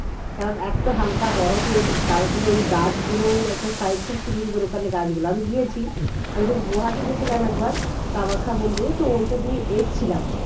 কারণ এত হালকা বরফের তার উপরে ওই গাছগুলো একটা size খুব সুন্দর সুন্দর ওখানে গাছগুলো আমি গিয়েছি আমি যখন গুরাহাটি গেছিলাম একবার কামাখ্যা মন্দিরে তো ওইটা দিয়ে এসেছিলাম